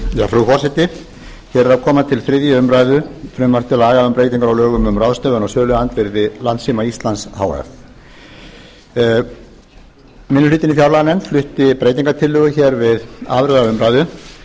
frú forseti hér kemur til þriðju umræðu frumvarp til laga um breytingar á lögum um ráðstöfun á söluandvirði landssíma íslands h f minni hlutinn í fjárlaganefnd flutti breytingartillögu hér við aðra umræðu